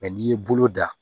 n'i ye bolo da